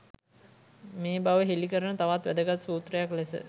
මේ බව හෙළි කරන තවත් වැදගත් සූත්‍රයක් ලෙස